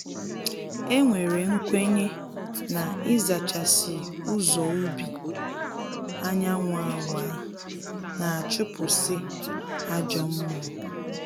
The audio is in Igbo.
E nwere nkwenye na ịzachasị ụzọ ubi anyanwụ awaa, na-achụpụsị ajọ mmụọ